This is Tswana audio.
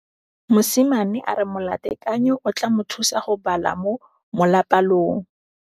Mosimane a re molatekanyô o tla mo thusa go bala mo molapalong.